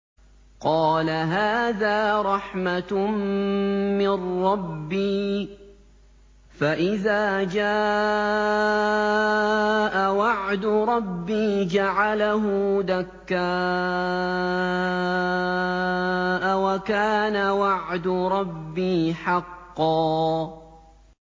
قَالَ هَٰذَا رَحْمَةٌ مِّن رَّبِّي ۖ فَإِذَا جَاءَ وَعْدُ رَبِّي جَعَلَهُ دَكَّاءَ ۖ وَكَانَ وَعْدُ رَبِّي حَقًّا